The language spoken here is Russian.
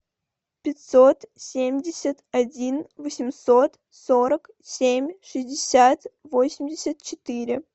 пятьсот семьдесят один восемьсот сорок семь шестьдесят восемьдесят четыре